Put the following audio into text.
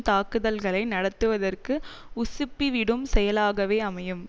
தாக்குதல்களை நடத்துவதற்கு உசுப்பிவிடும் செயலாகவே அமையும்